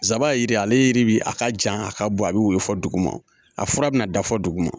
Nsaban ye jira ye, ale yiri bɛ a ka jan a ka bɔ a bɛ woyo fɔ dugu ma, a fura bɛna da fɔ dugu ma.